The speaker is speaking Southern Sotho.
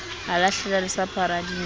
a lahlela lesapo hara dintja